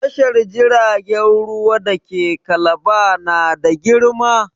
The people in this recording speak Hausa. Tashar jiragen ruwa da ke Kalaba na da girma.